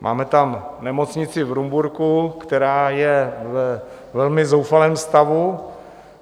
Máme tam nemocnici v Rumburku, která je ve velmi zoufalém stavu.